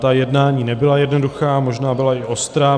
Ta jednání nebyla jednoduchá, možná byla i ostrá.